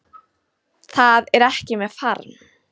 Það er ekki með farm